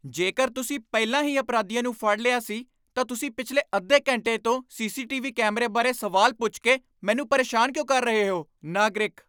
ਜੇਕਰ ਤੁਸੀਂ ਪਹਿਲਾਂ ਹੀ ਅਪਰਾਧੀਆਂ ਨੂੰ ਫੜ ਲਿਆ ਸੀ ਤਾਂ ਤੁਸੀਂ ਪਿਛਲੇ ਅੱਧੇ ਘੰਟੇ ਤੋਂ ਸੀ.ਸੀ.ਟੀ.ਵੀ. ਕੈਮਰੇ ਬਾਰੇ ਸਵਾਲ ਪੁੱਛ ਕੇ ਮੈਨੂੰ ਪਰੇਸ਼ਾਨ ਕਿਉਂ ਕਰ ਰਹੇ ਹੋ? ਨਾਗਰਿਕ